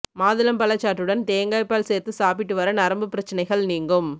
மாதுளம் பழச்சாற்றுடன் தேங்காய்ப்பால் சேர்த்து சாப்பிட்டு வர நரம்பு பிரச்னைகள் நீங்கும்